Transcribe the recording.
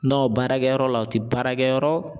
baarakɛyɔrɔ la u ti baarakɛyɔrɔ